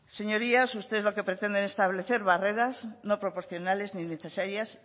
señorías ustedes lo que pretenden es establecer barreras no proporcionales ni necesarias